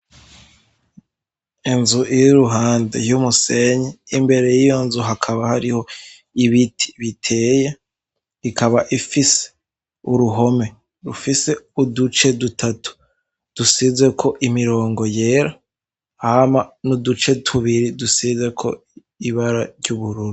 Inzu ir'iruhande y'umusenyi, imbere y'iyo nzu hakaba hariho ibiti biteye, ikaba ifise uruhome rufise uduce dutatu dusizeko imirongo yera, hama n'uduce tubiri dusizeko ibara ry'ubururu.